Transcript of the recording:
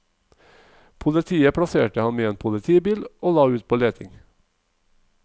Politiet plasserte ham i en politibil og la ut på leting.